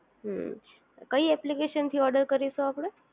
હમ્મ કઈ એપ્લિકેશન થી ઓર્ડર કરીશું આપણે